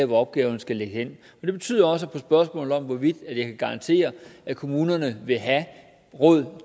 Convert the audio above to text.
hvor opgaven skal ligge det betyder også på spørgsmålet om hvorvidt jeg kan garantere at kommunerne vil have råd